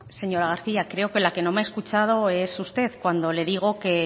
señora garcía creo que la que no me ha escuchado es usted cuando le digo que